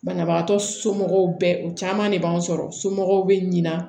Banabagatɔ somɔgɔw bɛ u caman de b'an sɔrɔ somɔgɔw bɛ ɲina